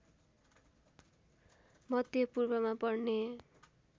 मध्यपूर्वमा पर्ने